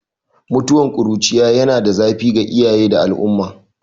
Mutuwar ƙuruciya yana da zafi ga iyaye da al'umma